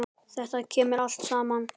Þetta kemur allt saman.